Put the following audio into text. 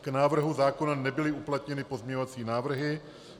K návrhu zákona nebyly uplatněny pozměňovací návrhy.